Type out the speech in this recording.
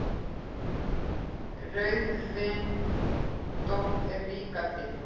Rauðvindótt er líka til.